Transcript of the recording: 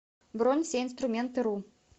бронь всеинструментыру